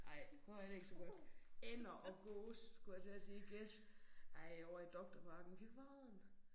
Ej prøv at høre her det ikke så godt. Ænder og gås skulle jeg til at sige gæs. Ej ovre i Doktorparken fy fan